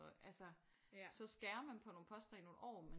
Og altså så skærer man på nogle poster i nogle år men